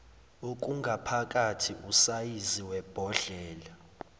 okungaphakathi usayizi webhodlela